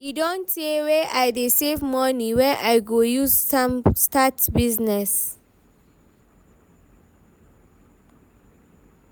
e don tey wey I dey save money wey I go use start business